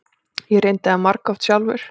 Ég reyndi það margoft sjálfur.